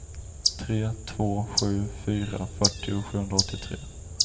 tre två sju fyra fyrtio sjuhundraåttiotre